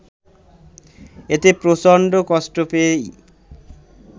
এতে প্রচণ্ড কষ্ট পেয়েই